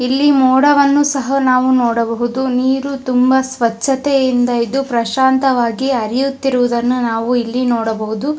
ಇಲ್ಲಿ ಮೋಡವನ್ನು ಸಹ ನಾವು ನೋಡಬಹುದು ನೀರು ತುಂಬಾ ಸ್ವಚ್ಛತೆಯಿಂದ ಇದು ಪ್ರಶಾಂತವಾಗಿ ಹರಿಯುತ್ತಿರುವುದನ್ನು ನಾವು ಇಲ್ಲಿ ನೋಡಬಹುದು.